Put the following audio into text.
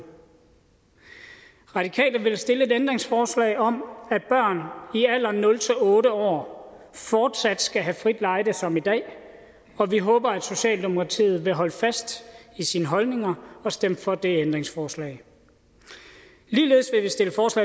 radikale vil stille et ændringsforslag om at børn i alderen nul otte år fortsat skal have frit lejde som i dag og vi håber at socialdemokratiet vil holde fast i sine holdninger og stemme for det ændringsforslag ligeledes